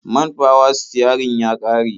Man fawa-sitiyarin ya ƙare.